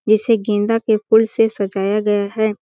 जिसे गेंदा के फूल से सजाया गया हैं ।